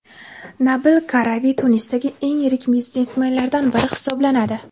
Nabil Karavi Tunisdagi eng yirik biznesmenlardan biri hisoblanadi.